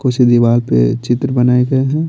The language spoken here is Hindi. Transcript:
कुछ दीवार पे चित्र बनाए गए हैं।